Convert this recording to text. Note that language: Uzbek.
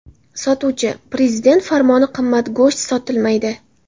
Sotuvchi: ‘Prezident farmoni qimmat go‘sht sotilmaydi.